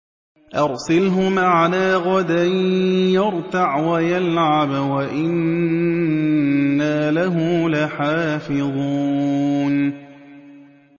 أَرْسِلْهُ مَعَنَا غَدًا يَرْتَعْ وَيَلْعَبْ وَإِنَّا لَهُ لَحَافِظُونَ